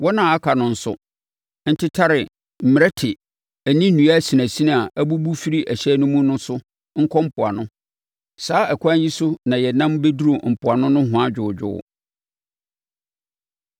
Wɔn a aka no nso ntetare mmerɛte ne nnua asinasini a abubu firi hyɛn no mu no so nkɔ mpoano. Saa ɛkwan yi so na yɛnam bɛduruu mpoano nohoa dwoodwoo.